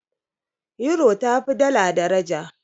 Yuro tafi dala daraja.